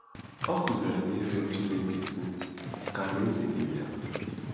Ọ kụziiri anyị ịrịọ Chineke, sị: “Ka alaeze gị bịa.”